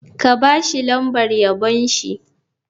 Ka ba shi lambar yabon shi.